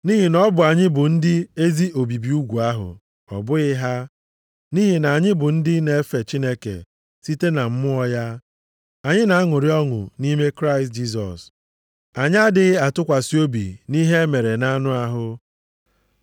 Nʼihi na ọ bụ anyị bụ ndị ezi obibi ugwu ahụ, ọ bụghị ha, nʼihi na anyị bụ ndị na-efe Chineke site na Mmụọ ya. Anyị na-aṅụrị ọṅụ nʼime Kraịst Jisọs. Anyị adịghị atụkwasị obi nʼihe e mere nʼanụ ahụ.